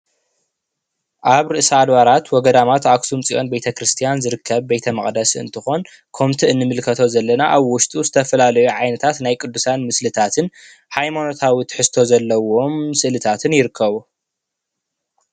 ኣብ ርእሰ ኣድባራት ወገዳማት ኣክሱም ፅዮን ቤተ ክርስትያን ዝርከብ ቤተ መቅደስ እንትኮን ከምቲ እንምልከቶ ዘለና ኣብ ውሽጡ ዝተፈላለዩ ዓይነታት ናይ ቅዱሳን ምስልታት ሃይማኖታዊ ትሕዝቶ ዘለዎም ስእልታትን ይርከቡ፡፡